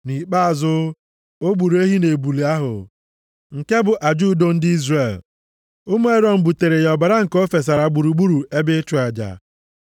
Nʼikpeazụ, o gburu ehi na ebule ahụ, nke bụ aja udo ndị Izrel. Ụmụ Erọn buteere ya ọbara nke o fesara gburugburu ebe ịchụ aja.